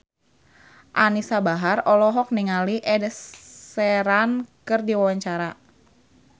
Anisa Bahar olohok ningali Ed Sheeran keur diwawancara